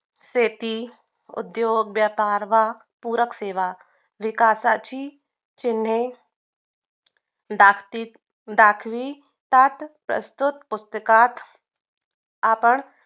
शेती, उद्द्योग, व्यापार व पूरक सेवा विकासाची चिन्हे दास्तीत दास्ती प्रस्तुत पूस्तकात आपण